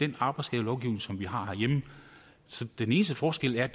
den arbejdsskadelovgivning som vi har herhjemme den eneste forskel er